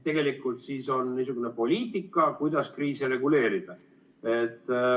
Ehk siis on niisugune poliitika, kuidas kriise reguleerida.